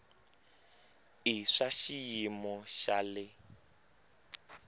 i swa xiyimo xa le